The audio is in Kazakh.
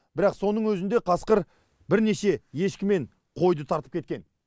бірақ соның өзінде қасқыр бірнеше ешкі мен қойды тартып кеткен